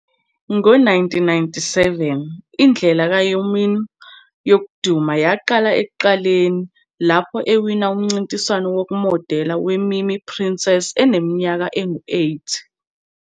Ngo-1997, indlela ka-Hyomin yokuduma yaqala ekuqaleni lapho ewina umncintiswano wokumodela we-MiMi Princess eneminyaka engu-8.